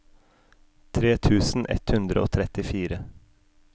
tre tusen ett hundre og trettifire